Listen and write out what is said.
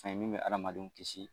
Mɛ min bɛ adamadenw kisi.